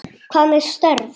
Hvað með störf?